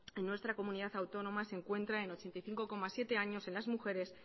en nuestra comunidad autónoma se encuentra en ochenta y cinco coma siete años en las mujeres